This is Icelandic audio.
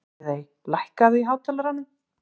Friðey, lækkaðu í hátalaranum.